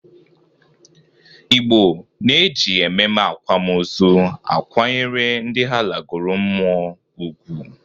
Igbo na-eji ememe akwam ozu akwanyere ndị ha lagoro mmụọ ugwu.